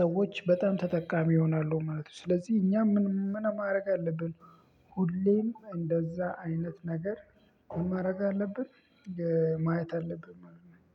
ሰዎች በጣም ተጠቃሚ ይሆናሉ ማለት ነው። ስለዚህ እኛም ምን ማድረግ አለብን? ሁሌም እንደዛ አይነት ነገር ምን ማረግ አለብን? ማየት አለብን ማለት ነው